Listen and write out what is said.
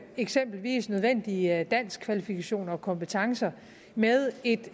eksempelvis nødvendige danskkvalifikationer og kompetencer med et